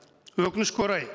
өкінішке орай